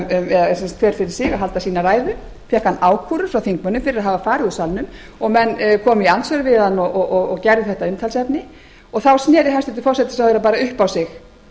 hver fyrir sig að halda sínar ræður fékk hann ákúrur frá þingmönnum fyrir að hafa farið úr salnum menn komu í andsvör við hann og gerðu þetta að umtalsefni þá sneri hæstvirtur forsætisráðherra bara upp á sig